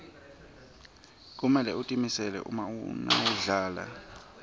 kumele utimisele nawudlala